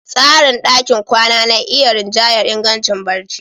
Tsarin ɗakin kwana na iya rinjayar ingancin barci.